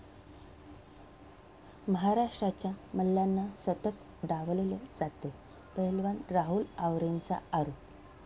महाराष्ट्राच्या मल्लांना सतत डावललं जातंय, पैलवान राहुल आवरेचा आरोप